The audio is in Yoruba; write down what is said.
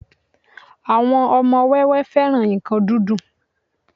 àwọn ọmọ wẹ́wẹẹ́ féràn nkan dídùn